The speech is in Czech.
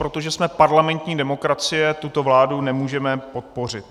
Protože jsme parlamentní demokracie, tuto vládu nemůžeme podpořit.